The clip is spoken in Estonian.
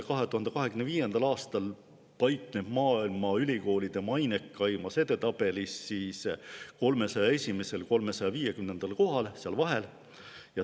2025. aastal paikneb see maailma ülikoolide mainekaimas edetabelis 301.–350. kohal, seal vahel.